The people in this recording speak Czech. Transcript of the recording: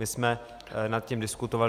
My jsme nad tím diskutovali.